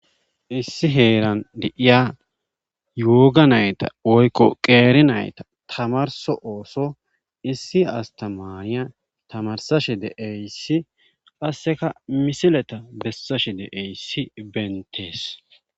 issi heeran di7iya yooga nayta woykko qeeri nayta tamarso ooso issi astamariya tamarsashe de eyssi qasseka misileta bessashe de eyssi bentees